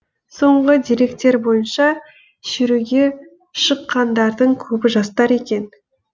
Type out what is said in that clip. сонғы деректер бойынша шеруге шыққандардыңкөбі жастар екен